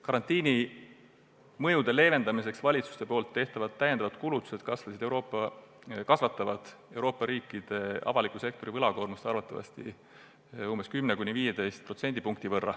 Karantiini mõjude leevendamiseks valitsuste tehtavad täiendavad kulutused kasvatavad Euroopa riikide avaliku sektori võlakoormust arvatavasti umbes 10–15%.